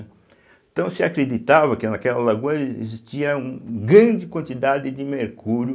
Então se acreditava que naquela lagoa existia um um grande quantidade de mercúrio,